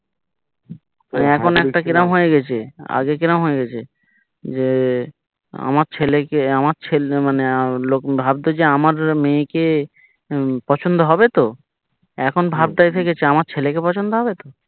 মানে এখন একটা কিরম হয়ে গেছে আগে কিরকম হয়েগেছে যে আমার ছেলেকে আমার ছেলে মানে ভাবতো যে আমার মেয়েকে পছন্দ হবে তো এখন ভাবটা হয়ে গেছে আমার ছেলেকে পছন্দ হবেতো